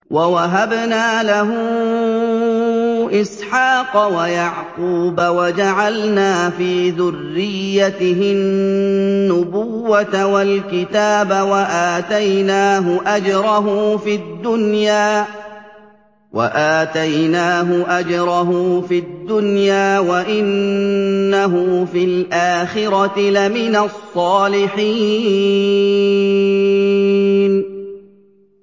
وَوَهَبْنَا لَهُ إِسْحَاقَ وَيَعْقُوبَ وَجَعَلْنَا فِي ذُرِّيَّتِهِ النُّبُوَّةَ وَالْكِتَابَ وَآتَيْنَاهُ أَجْرَهُ فِي الدُّنْيَا ۖ وَإِنَّهُ فِي الْآخِرَةِ لَمِنَ الصَّالِحِينَ